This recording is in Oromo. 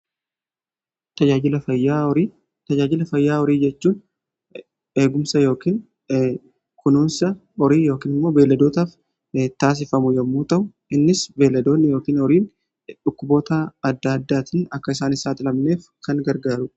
tajaajila fayyaa horii jechuun eegumsa yookiin kunuunsa horii yookiin immoo beelladootaaf taasifamu yommuu ta'u innis beelladoonni yookiin horiin dhukkuboota adda addaatiin akka isaan hin saaxilamneef kan gargaarudha.